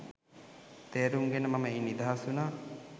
තේරුම් ගෙන මම එයින් නිදහස් වුනා